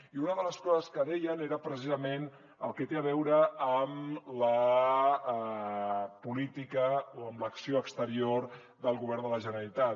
i una de les coses que deien era precisament el que té a veure amb la política o amb l’acció exterior del govern de la generalitat